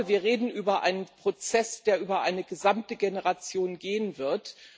Ich glaube, wir reden über einen Prozess, der über eine gesamte Generation gehen wird.